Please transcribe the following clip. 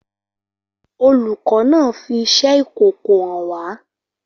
Olùkọ́ náà fi iṣẹ́ ìkòkò hàn wá.